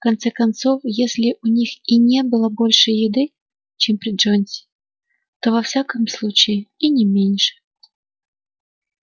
конце концов если у них и не было больше еды чем при джонсе то во всяком случае и не меньше